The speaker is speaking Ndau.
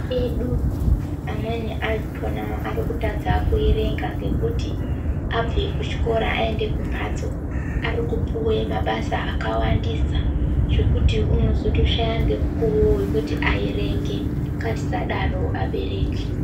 Ana edu amweni achona arikutadza kuerenga ngekuti abve kuchikora aende kumhatso arikupuwe mabasa akawandisa zvekuti unozotoshaya ngemukuwo wekuti aerenge, ngatisadaro abereki.